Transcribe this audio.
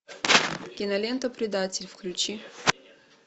кинолента предатель включи